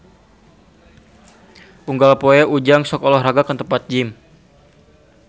Unggal poe Ujang sok olahraga ka tempat gym